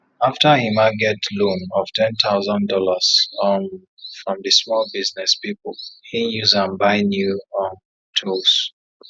after emma get loan of ten thousand dollars um from di small business pipu him use am buy new um tools